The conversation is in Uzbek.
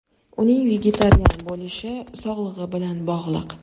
Uning vegetarian bo‘lishi sog‘ligi bilan bog‘liq.